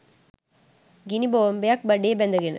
ගිනි බෝම්බයක් බඩේ බැඳ ගෙන